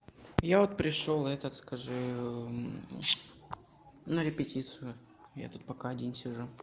я вот пришёл этот скажи на репетицию я тут пока один сижу